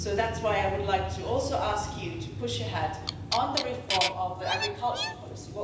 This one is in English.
That's why I would like to also ask you to push ahead on the reform of the agricultural policy.